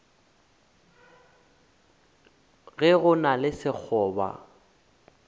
ge go na le sekgoba